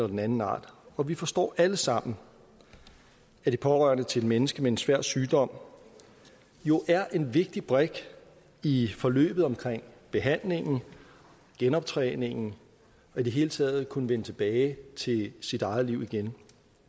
den anden art og vi forstår alle sammen at de pårørende til et menneske med en svær sygdom jo er en vigtig brik i forløbet omkring behandlingen og genoptræningen og i det hele taget at kunne vende tilbage til sit eget liv igen